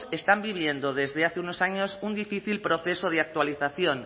están viviendo desde hace unos años un difícil proceso de actualización